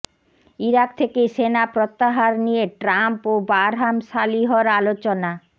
Iraq থেকে সেনা প্রত্যাহার নিয়ে ট্রাম্প ও বারহাম সালিহর আলোচনা